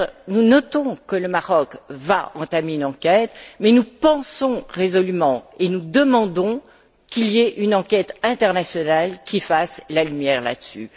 Nous notons que le Maroc va entamer une enquête, mais nous pensons résolument et nous demandons qu'il y ait une enquête internationale qui fasse la lumière là dessus.